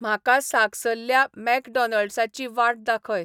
म्हाका सागसल्ल्या मॅकडॉनल्ड्साची वाट दाखय